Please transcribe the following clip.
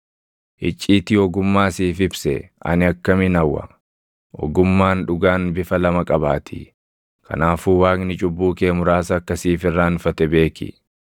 icciitii ogummaa siif ibsee ani akkamin hawwa! Ogummaan dhugaan bifa lama qabaatii. Kanaafuu Waaqni cubbuu kee muraasa akka siif irraanfate beeki.